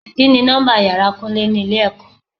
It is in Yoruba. Kini nọ́mbà ìyára Kúnlé ni ilé ẹ̀kọ́?